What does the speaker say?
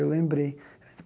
Eu lembrei.